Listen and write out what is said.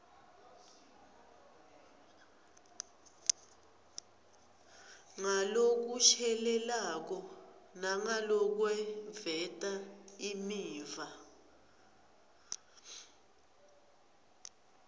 ngalokushelelako nangalokuveta imiva